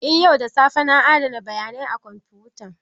Eh yau da safe na adana bayanai a kwamfutan